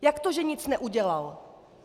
Jak to, že nic neudělal?